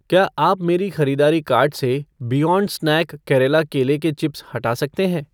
क्या आप मेरे ख़रीदारी कार्ट से बियॉन्ड स्नैक केरला केले के चिप्स हटा सकते हैं